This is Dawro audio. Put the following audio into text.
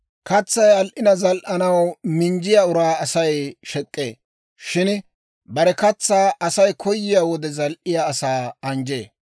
Katsay al"ina zal"anaw minjjiyaa uraa Asay shek'k'ee. Shin bare katsaa Asay koyiyaa wode zil"iyaa asaa anjjee.